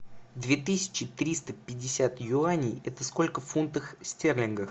две тысячи триста пятьдесят юаней это сколько в фунтах стерлингах